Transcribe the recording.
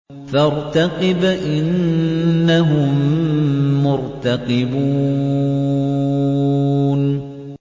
فَارْتَقِبْ إِنَّهُم مُّرْتَقِبُونَ